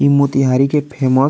इ मोतिहारी के फेमस --